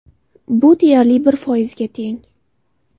Bu deyarli bir foizga teng.